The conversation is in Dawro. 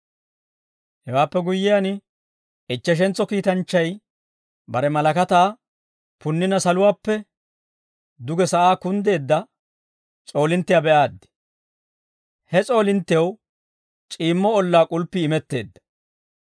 Hewaappe guyyiyaan, ichcheshentso kiitanchchay bare malakataa punnina saluwaappe duge sa'aa kunddeedda s'oolinttiyaa be'aaddi. He s'oolinttew c'iimmo ollaa k'ulppii imetteedda.